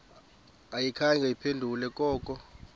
ayikhange iphendule koko